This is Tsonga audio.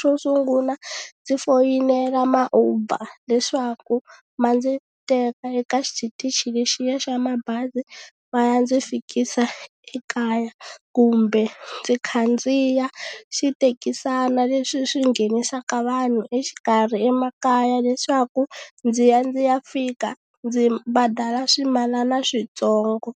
xo sungula ndzi foyinela ma uber leswaku ma ndzi teka eka xitichi lexiya xa mabazi va ya ndzi fikisa ekaya kumbe ndzi khandziya xithekisana leswi swi nghenisaka vanhu exikarhi emakaya leswaku ndzi ya ndzi ya fika ndzi badala swimalana switsongo.